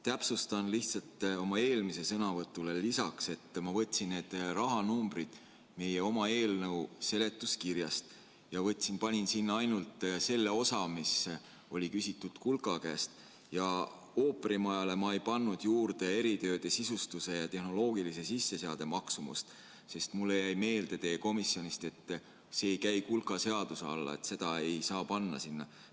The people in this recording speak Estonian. Täpsustan lihtsalt oma eelmisele sõnavõtule lisaks, et ma võtsin need rahanumbrid meie oma eelnõu seletuskirjast ja panin sinna juurde ainult selle osa, mis oli küsitud kulka käest, ja ooperimajale ma ei pannud juurde eritööde, sisustuse ja tehnoloogilise sisseseade maksumust, sest mulle jäi komisjonist meelde, et see ei käi kulka seaduse alla ja seda ei saa sinna panna.